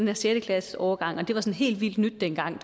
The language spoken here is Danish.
her sjette klasses årgang det var helt vildt nyt dengang og